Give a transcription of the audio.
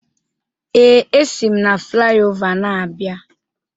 Ee, esi m na flaiova na-abịa.